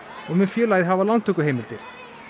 og mun félagið hafa lántökuheimildir